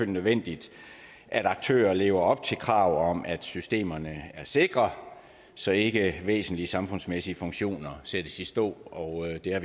nødvendigt at aktører lever op til kravet om at systemerne er sikre så ikke væsentlige samfundsmæssige funktioner sættes i stå og det har